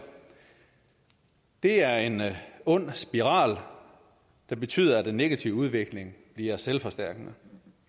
det er en ond spiral der betyder at den negative udvikling bliver selvforstærkende